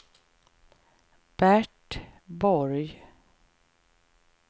Bert Borg